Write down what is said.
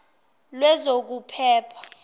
lwezokuphepha